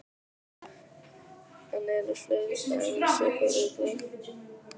En eru fleiri dæmi um svipuð viðbrögð?